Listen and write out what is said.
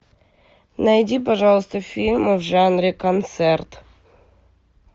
найди пожалуйста фильмы в жанре концерт